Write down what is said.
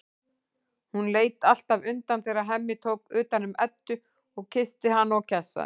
Hún leit alltaf undan þegar Hemmi tók utan um Eddu og kyssti hana og kjassaði.